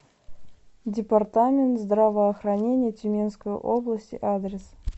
департамент здравоохранения тюменской области адрес